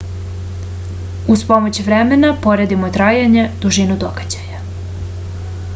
уз помоћ времена поредимо трајање дужину догађаја